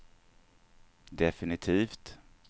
definitivt